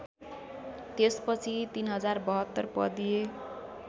त्यसपछि ३०७२ पदीय